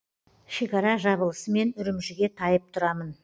шекара жабылысымен үрімжіге тайып тұрамын